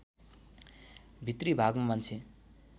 भित्री भागमा मान्छे